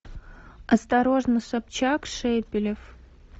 осторожно собчак шепелев